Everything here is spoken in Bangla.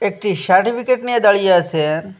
একটি সার্টিফিকেট নিয়ে দাঁড়িয়ে আসে।